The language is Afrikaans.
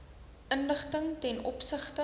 inligting ten opsigte